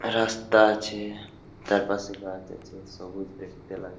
রাস্তা আছে তারপাশে গাছ আছে সবুজ দেখতে লাগ--